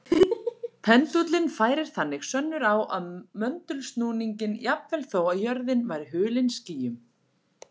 Pendúllinn færir þannig sönnur á möndulsnúninginn jafnvel þó að jörðin væri hulin skýjum.